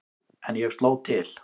En ég sló til.